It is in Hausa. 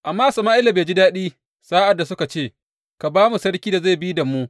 Amma Sama’ila bai ji daɗi sa’ad da suka ce, Ka ba mu sarki da zai bi da mu.